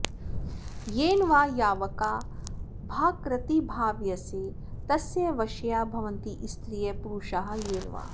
येन वा यावका भाकृतिर्भाव्यसे तस्य वश्या भवन्ति स्त्रियः पूरुषाः येन वा